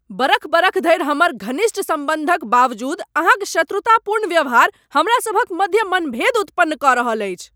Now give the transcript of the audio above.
बरख बरख धरि हमर घनिष्ठ सम्बन्धक बावजूद अहाँक शत्रुतापूर्ण व्यवहार हमरासभक मध्य मनभेद उत्पन्न कऽ रहल अछि।